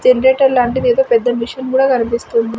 Generator లాంటిది ఏదో పెద్ద మిషన్ కూడా కనిపిస్తుంది.